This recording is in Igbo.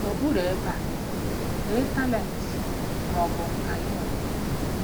N'okpuru ebe a, dee talent ma ọ bụ nka ị nwere.